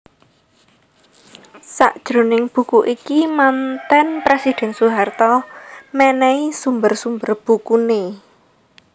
Sajroning buku iki manten presiden Soeharto mènèhi sumber sumber bukuné